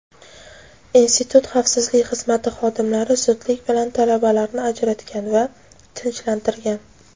institut xavfsizlik xizmati xodimlari zudlik bilan talabalarni ajratgan va tinchlantirgan.